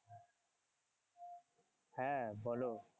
হ্যাঁ বলো।